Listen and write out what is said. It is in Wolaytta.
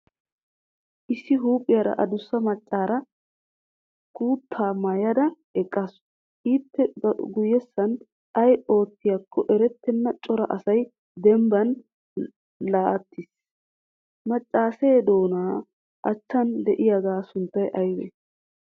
Issi huuphiyara adusa maccaara kutaa maayada eqqaasu. ippe guyessan ay oottiyaakko eretenna cora asay dembban laatiis. macaasee doona achchan de"iyaaga sunttay aybee?